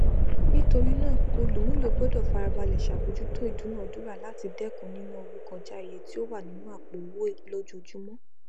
nítorí náà olùmúlò gbọdọ farabalẹ ṣàbójútó ìdúnadúrà láti dẹkùn nínà owó kọjá iye tí ó wà nínú àpò owó lójoojúmọ